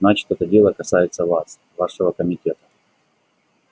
значит это дело касается вас вашего комитета